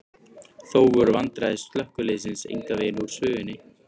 Þó voru vandræði slökkviliðsins engan veginn úr sögunni.